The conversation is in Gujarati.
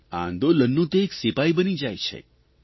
આ આંદોલનનો તે એક સિપાઇ બની જાય છે